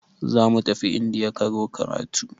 Zamu tafi indiya ƙaro karatu.